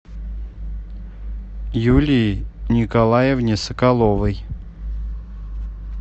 юлии николаевне соколовой